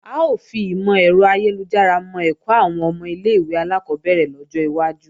A ó fi ìmò-ẹ̀rọ ayélujára mọ́ ẹ̀kọ́ àwọn ọmọ ilé-ìwé alákọ́bẹ̀rẹ̀ lọ́jọ́ iwájú